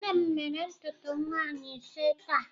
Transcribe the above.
Nne m mere ntutu nwaanyi ise taa.